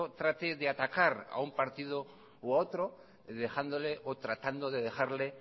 trate de atacar a un partido u a otro dejándole o tratando de dejarle